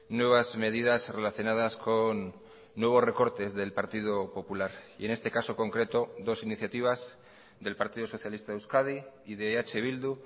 nuevas medidas relacionadas con nuevos recortes del partido popular y en este caso concreto dos iniciativas del partido socialista de euskadi y de eh bildu